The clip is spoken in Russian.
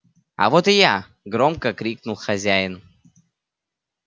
а вот и я громко крикнул хозяин